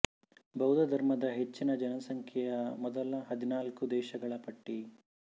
ಬೌದ್ಧ ಧರ್ಮದ ಹೆಚ್ಚಿನ ಜನಸಂಖ್ಯೆಯ ಮೊದಲ ಹದಿನಾಲ್ಕು ದೇಶಗಳ ಪಟ್ಟಿ